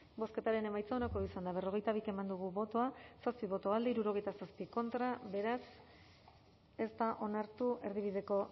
bozketaren emaitza onako izan da hirurogeita hamalau eman dugu bozka zazpi boto alde sesenta y siete contra beraz ez da onartu erdibideko